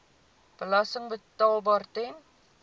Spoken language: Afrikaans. belasting betaalbaar ten